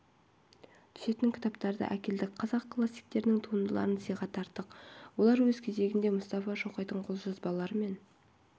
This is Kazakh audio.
түсетін кітаптарды әкелдік қазақ классиктерінің туындыларын сыйға тарттық олар өз кезегінде мұстафа шоқайдың қолжазбалары мен